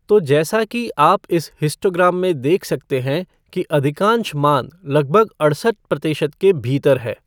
तो जैसा कि आप इस हिस्टोग्राम में देख सकते हैं कि अधिकांश मान लगभग अड़सठ प्रतिशत के भीतर है।